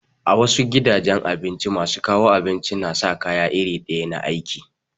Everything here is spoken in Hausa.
A wasu gidan abincin masu kawo abinci na sa kaya iri ɗaya na aiki.